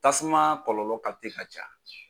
Tasuma kɔlɔlɔ ka ca.